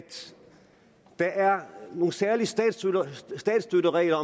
der er nogle særlige statsstøtteregler